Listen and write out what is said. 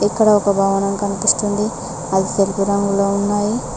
ఇక్కడ ఒక భవనం కనిపిస్తుంది అది తెలుపు రంగులో ఉన్నాయి.